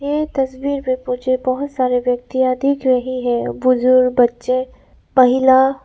यह तस्वीर में मुझे बहुत सारे व्यक्तिया दिख रही है बुजुर्ग बच्चे महिला।